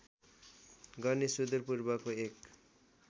गर्ने सुदूर पूर्वको एक